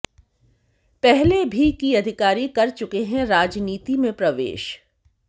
पहले भी की अधिकारी कर चुके है राजनीति में प्रवेश